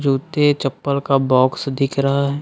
जूते चप्पल का बॉक्स दिख रहा है।